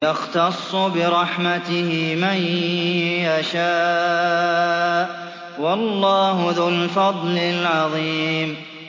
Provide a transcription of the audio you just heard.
يَخْتَصُّ بِرَحْمَتِهِ مَن يَشَاءُ ۗ وَاللَّهُ ذُو الْفَضْلِ الْعَظِيمِ